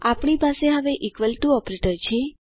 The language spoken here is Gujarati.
આપણી પાસે હવે ઇકવલ ટુ ઓપરેટર છે